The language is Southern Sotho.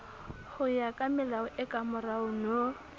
hoya kamelao e kamorao no